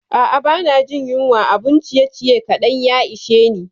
A'a, ba na jin yunwa, abun ciyeciye kaɗan ya ishe ni.